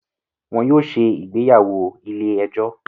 Wọn yóò ṣe ìgbéyàwó ilé ẹjọ́